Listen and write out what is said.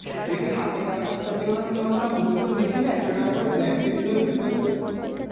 দেখবি হাতিবাগান ফাতিবাগান যখন আমরা ঘুরতাম দেখতি না একশো টাকা করে blanket গুলো বিক্রি হত